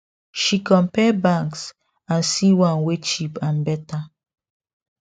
she compare banks and see one wey cheap and better